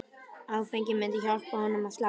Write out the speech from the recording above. Áfengið myndi hjálpa honum að slaka á.